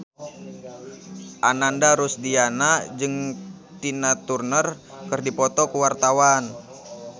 Ananda Rusdiana jeung Tina Turner keur dipoto ku wartawan